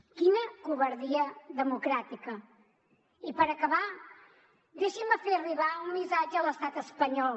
quina covardia democràtica i per acabar deixin me fer arribar un missatge a l’estat espanyol